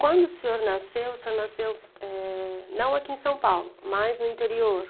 Quando o senhor nasceu, o senhor nasceu, eh, não aqui em São Paulo, mas no interior.